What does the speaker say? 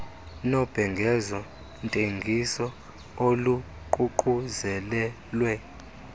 nobhengezo ntengiso oluququzelelwe